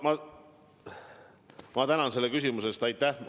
Ma tänan selle küsimuse eest!